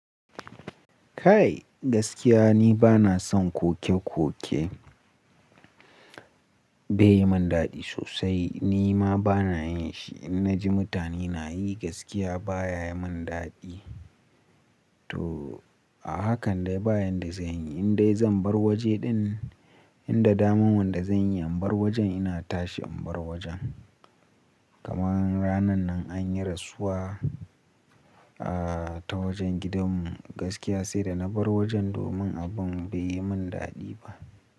Kai gaskiya ni bana son koke koke bai yi min daɗi sosai, ni ma bana yin shi. In na ji mutane na yi gaskiya baya yi min daɗi. To a haka dai ba yan da zanyi, in dai zan bar waje din, inda daman wanda zanyi in bar wajen ina tashi in bar wajen. Kamar ranan nan anyi rasuwa ah ta wajen gidanmu gaskiya sai da na bar wajen domin abun bai yi min daɗi ba.